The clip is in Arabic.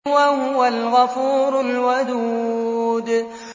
وَهُوَ الْغَفُورُ الْوَدُودُ